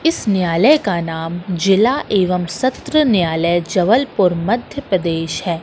इस न्यायालय का नाम जिला एवं सत्र न्यायालय जबलपुर मध्यप्रदेश है।